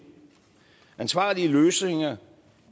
og ansvarlige løsninger